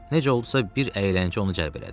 Necə oldusa bir əyləncə onu cəlb elədi.